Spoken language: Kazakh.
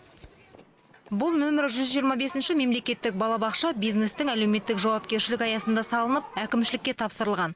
бұл нөмір жүз жиырма бесінші мемлекеттік балабақша бизнестің әлеуметтік жауапкершілігі аясында салынып әкімшілікке тапсырылған